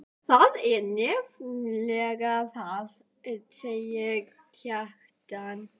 Það er nefnilega það, sagði Kjartan.